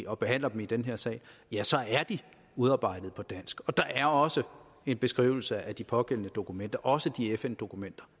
og behandler dem i den her sal er de udarbejdet på dansk og der er også en beskrivelse af de pågældende dokumenter også de fn dokumenter